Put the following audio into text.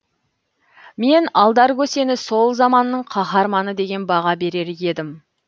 мен алдар көсені сол заманның қаһарманы деген баға берер едім